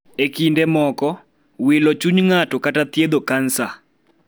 E kinde moko, wilo chuny ng'ato kata thiedho kansa.